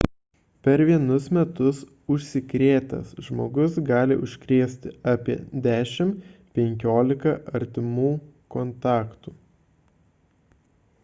per vienus metus užsikrėtęs žmogus gali užkrėsti apie 10–15 artimų kontaktų